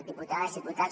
diputades diputats